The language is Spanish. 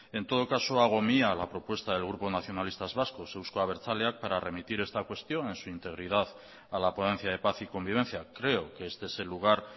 en todo caso hago mía la propuesta del grupo nacionalistas vascos euzko abertzaleak para remitir esta cuestión en su integridad a la ponencia de paz y convivencia creo que este es el lugar